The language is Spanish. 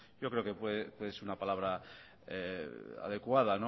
yo creo que es una palabra adecuada